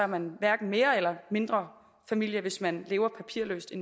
man hverken mere eller mindre familie hvis man lever papirløst i